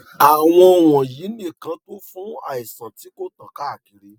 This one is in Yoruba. àwọn wọnyí nìkan tó fún àìsàn tí kò tán káàkiri